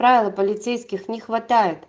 правила полицейских не хватает